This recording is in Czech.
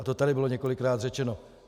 A to tady bylo několikrát řečeno.